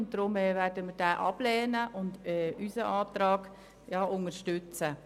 Deshalb werden wir ihn ablehnen und unseren Antrag unterstützen.